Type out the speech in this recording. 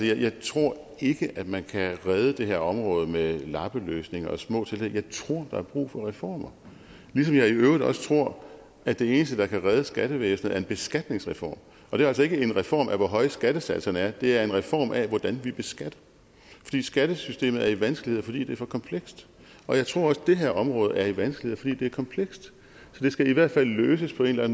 jeg tror ikke at man kan redde det her område med lappeløsninger og små tiltag jeg tror der er brug for reformer ligesom jeg i øvrigt også tror at det eneste der kan redde skattevæsenet er en beskatningsreform og det er altså ikke en reform af hvor høje skattesatserne er det er en reform af hvordan vi beskatter fordi skattesystemet er i vanskeligheder fordi det er for komplekst jeg tror også det her område er i vanskeligheder fordi det er komplekst så det skal i hvert fald løses på en eller